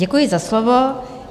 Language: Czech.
Děkuji za slovo.